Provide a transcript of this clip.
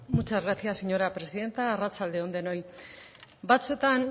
muchas gracias señora presidenta arratsalde on denoi batzuetan